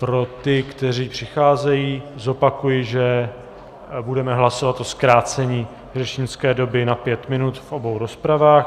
Pro ty, kteří přicházejí, zopakuji, že budeme hlasovat o zkrácení řečnické doby na pět minut v obou rozpravách.